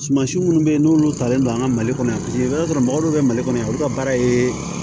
Suman si minnu bɛ yen n'olu talen don an ka mali kɔnɔ yan i b'a sɔrɔ mɔgɔ dɔw bɛ mali kɔnɔ yan olu ka baara ye